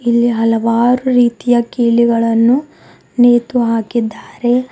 ಇಲ್ಲಿ ಹಲವಾರು ರೀತಿಯ ಕೀಲಿಗಳನ್ನು ನೇತು ಹಾಕಿದ್ದಾರೆ.